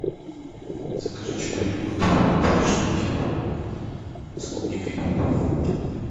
закажи чудо йогурт три штуки с клубникой